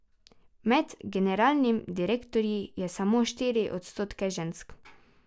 Med generalnimi direktorji je samo štiri odstotke žensk.